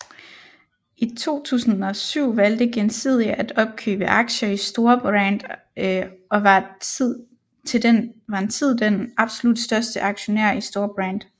I 2007 valgte Gjensidige at opkøbe aktier i Storebrand og var en tid den absolut største aktionær i Storebrand